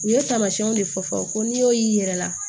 U ye tamasiyɛnw de fɔ fɔ ko n'i y'o y'i yɛrɛ la